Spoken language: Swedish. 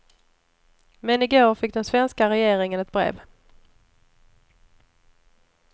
Men i går fick den svenska regeringen ett brev.